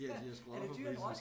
Ja de har skruet op for prisen